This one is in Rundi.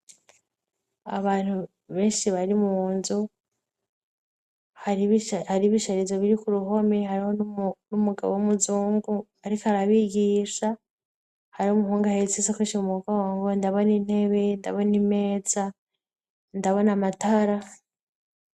Abantu benshi bari mu nzu hari bisharirizo biri ku ruhomi hariho n'umugabo w' umuzungu, ariko arabigisha harih umu hunga haritsisa koinshimubukawa ngo ndabona intebe ndabona imeza ndabona amatara.